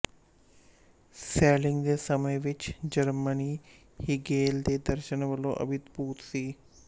shelling ਦੇ ਸਮੇਂ ਵਿੱਚ ਜਰਮਨੀ ਹੀਗੇਲ ਦੇ ਦਰਸ਼ਨ ਵਲੋਂ ਅਭਿਭੂਤ ਸੀ